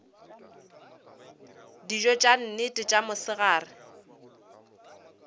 dijo tša nnete tša mosegare